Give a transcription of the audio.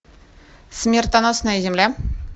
смертоносная земля